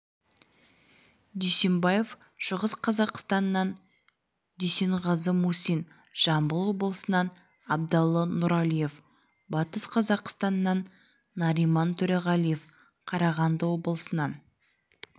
дүйсембаев шығыс қазақстаннан дүйсенғазы мусин жамбыл облысынан абдалы нұралиев батыс қазақстаннан нариман төреғалиев қарағанды облысынан